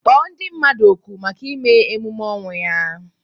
Kpọọ ndị mmadụ oku maka imee emume ọnwụ ya!